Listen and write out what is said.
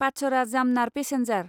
पाचरा जामनार पेसेन्जार